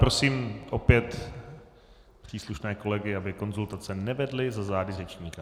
Prosím opět příslušné kolegy, aby konzultace nevedli za zády řečníka.